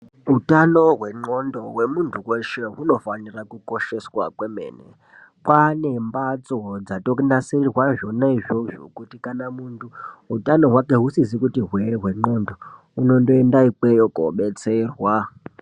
Utano hwenxlondo hwemuntu hweshe hunofanire kukosheswa kwemene kwaane mbatso dzatonasirirwe zvonaizvozvo kuti kana munhu utano hwake husisazi kuti hwe hwenxlondo unondoenda ikweyo kobetserwa.